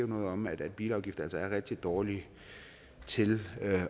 noget om at bilafgifter altså er rigtig dårlige til